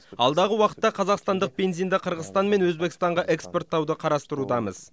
алдағы уақытта қазақстандық бензинді қырғызстан мен өзбекстанға экспорттауды қарастырудамыз